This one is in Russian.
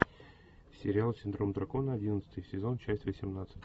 сериал синдром дракона одиннадцатый сезон часть восемнадцать